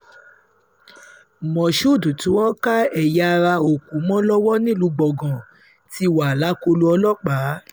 moshood tí wọ́n ká ẹ̀yà ara-òkú mọ́ lọ́wọ́ nílùú gbọ̀ngàn nílùú gbọ̀ngàn ti wà lákọlò ọlọ́pàá